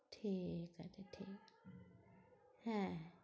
ঠিকাছে হ্যাঁ